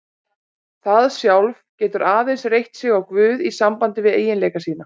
Það sjálf getur aðeins reitt sig á guð í sambandi við eiginleika sína.